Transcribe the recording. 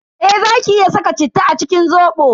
Eh zaki iya saka citta a cikin Zobo.